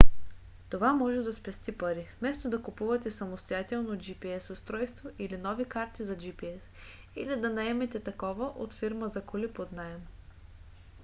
това може да спести пари вместо да купувате самостоятелно gps устройство или нови карти за gps или да наемете такова от фирма за коли под наем